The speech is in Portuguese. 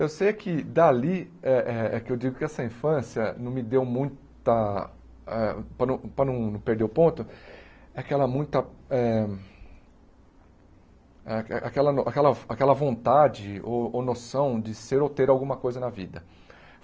Eu sei é que, dali, é é é que eu digo que essa infância não me deu muita eh... para não para não não perder o ponto, aquela muita eh... a aquela a aquela vontade ou ou noção de ser ou ter alguma coisa na vida.